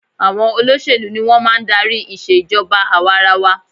Àwọn olóṣèlú ni wọn máa ń darí ìṣe ìjọba àwa-ara-wa